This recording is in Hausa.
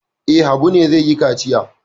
E, Habu ne zai yi kaciya.